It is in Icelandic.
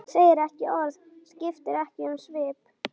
Hann segir ekki orð, skiptir ekki um svip.